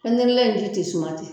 Pɛntirilen in ji tɛ suma ten